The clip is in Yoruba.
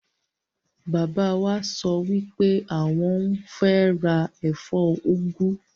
Bàbá wa sọ wipe awọn n ra ẹfọ úgú.